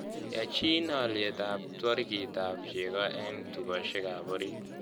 Yaachiin alyet twooriikap cheeg'o eng' tugosiekap ooriit